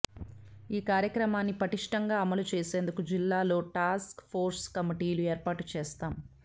ఈ కార్యక్రమాన్ని పటిష్టంగా అమలు చేసేందుకు జిల్లాల్లో టాస్క్ఫోర్స్ కమిటీలు ఏర్పాటు చేస్తాం